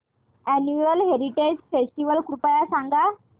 annual heritage festival कृपया सांगा